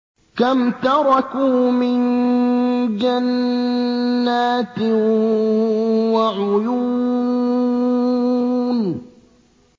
كَمْ تَرَكُوا مِن جَنَّاتٍ وَعُيُونٍ